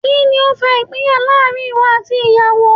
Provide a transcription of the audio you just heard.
Kíni ó fa ìpínyà láàrin ìwọ àti ìyàwó?